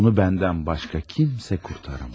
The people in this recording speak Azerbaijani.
Onu məndən başqa heç kim qurtara bilməz.